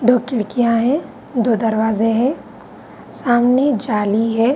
दो खिड़कियाँ हैं दो दरवाजे हैं सामने जाली है।